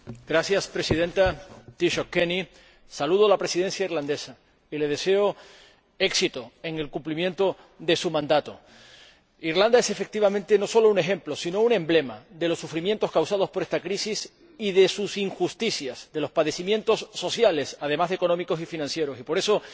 Señora Presidenta, Taoiseach Kenny, saludo a la Presidencia irlandesa y le deseo éxito en el cumplimiento de su mandato. Irlanda es, efectivamente, no solo un ejemplo sino también un emblema de los sufrimientos causados por esta crisis y de sus injusticias, de los padecimientos sociales, además de económicos y financieros, y por eso,